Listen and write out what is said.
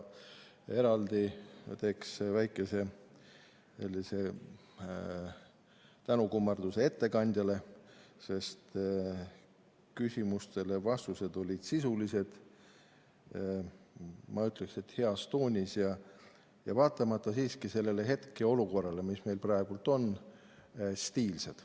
Eraldi teen väikese tänukummarduse ettekandjale, sest küsimustele vastused olid sisulised, ma ütleksin, et heas toonis ja vaatamata sellele hetkeolukorrale, mis meil praegu on, stiilsed.